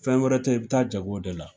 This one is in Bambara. Fɛn wɛrɛ te yen, i bi taa jago de la.